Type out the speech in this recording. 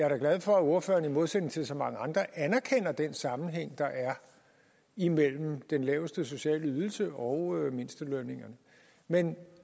er glad for at ordføreren i modsætning til så mange andre anerkender den sammenhæng der er imellem den laveste sociale ydelse og mindstelønningerne men